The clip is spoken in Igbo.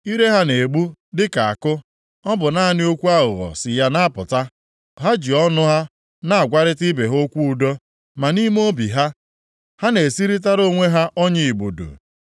Ire ha na-egbu dịka àkụ. Ọ bụ naanị okwu aghụghọ si na ya apụta. Ha ji ọnụ ha na-agwarịta ibe ha okwu udo, ma nʼime obi ha, ha na-esirịtara onwe ha ọnya igbudu.”